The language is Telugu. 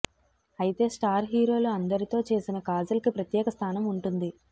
అయితే స్టార్ హీరోలు అందరితో చేసిన కాజల్ కి ప్రత్యేక స్థానం ఉంటుంది